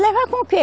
Levar com o que?